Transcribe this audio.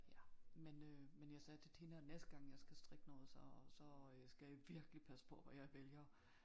Ja men øh men jeg sagde til Tina næste gang jeg skal strikke noget så så øh skal jeg virkelig passe på hvad jeg vælger